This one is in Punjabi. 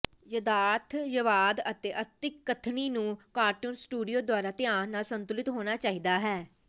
ਯਥਾਰਥਵਾਦ ਅਤੇ ਅਤਿਕਥਨੀ ਨੂੰ ਕਾਰਟੂਨ ਸਟੂਡੀਓ ਦੁਆਰਾ ਧਿਆਨ ਨਾਲ ਸੰਤੁਲਿਤ ਹੋਣਾ ਚਾਹੀਦਾ ਹੈ